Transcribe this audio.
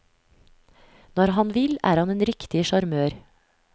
Når han vil, er han en riktig sjarmør.